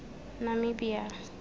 namibia